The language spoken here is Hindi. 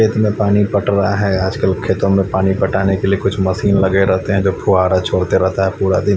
खेत में पानी पट रहा है आजकल खेतों में पानी पटाने के लिए कुछ मशीनें लगे रहते है जो कि फुहारा छोड़ते रहते है पूरा दिन --